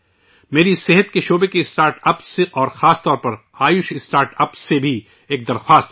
میری صحت کے شعبے کے اسٹارٹ اپس اور خاص طور پر آیوش اسٹارٹ اپس سے بھی ایک درخواست ہے